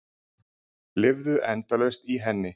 Lifðu endalaust í henni.